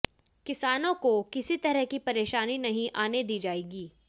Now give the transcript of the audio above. किसानों को किसी तरह की परेशानी नहीं आने दी जाएगी